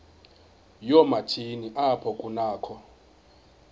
yoomatshini apho kunakho